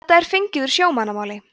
þetta er fengið úr sjómannamáli